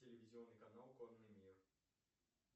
телевизионный канал конный мир